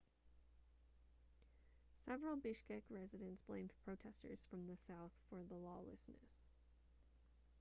several bishkek residents blamed protesters from the south for the lawlessness